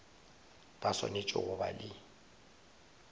ba swanetše go ba le